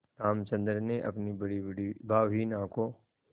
रामचंद्र ने अपनी बड़ीबड़ी भावहीन आँखों